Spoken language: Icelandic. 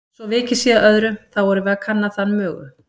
Svo vikið sé að öðru, þá erum við að kanna þann mögu